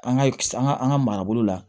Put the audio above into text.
An ka an ka an ka marabolo la